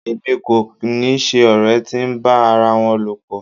Èmi kò ni ṣe ọ̀rẹ́ tí ń bá ara wọn lọ̀pọ̀.